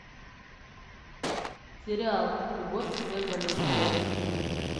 сериал любовь от всех болезней поищи